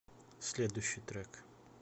следующий трек